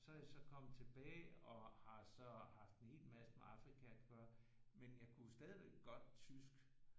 Og så er jeg så kommet tilbage og har så haft en hel masse med Afrika at gøre men jeg kunne stadigvæk godt tysk